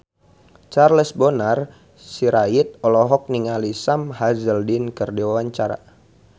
Charles Bonar Sirait olohok ningali Sam Hazeldine keur diwawancara